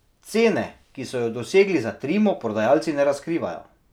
Cene, ki so jo dosegli za Trimo, prodajalci ne razkrivajo.